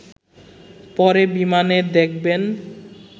পরে বিমানে দেখবেন